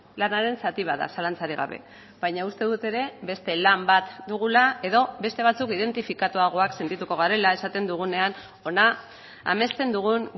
lanaren zati bat da zalantzarik gabe baina uste dut ere beste lan bat dugula edo beste batzuk identifikatuagoak sentituko garela esaten dugunean hona amesten dugun